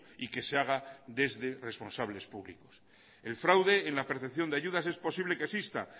y que se haga desde responsables públicos el fraude en la percepción de ayudas es posible que exista